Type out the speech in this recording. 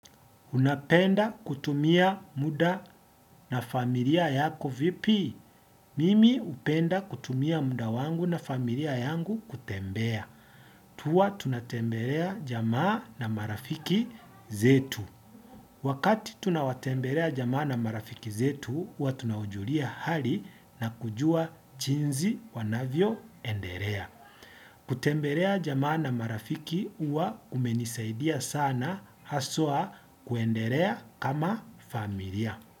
Unapenda kutumia muda na familia yako vipi? Mimi upenda kutumia muda wangu na familia yangu kutembea. Tuwa tunatembelea jamaa na marafiki zetu. Wakati tunawatembelea jamaa na marafiki zetu, huwa tunawajulia hali na kujua chinzi wanavyoenderea. Kutemberea jamaa na marafiki uwa kumenisaidia sana, haswa kuenderea kama familia.